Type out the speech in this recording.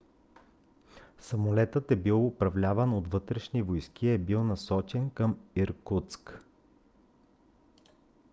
самолетът е бил управляван от вътрешни войски и е бил насочен към иркутск